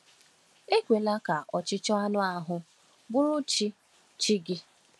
Ekwela ka ọchịchọ anụ ahụ bụrụ chi chi gị